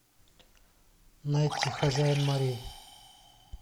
найти хозяин морей